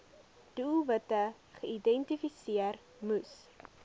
doelwitte geïdentifiseer moes